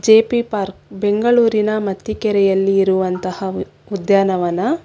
J P park ಬೆಂಗಳೂರಿನ ಮತ್ತಿಕೆರೆಯಲ್ಲಿರುವಂತಹ ಉದ್ಯಾನವನ.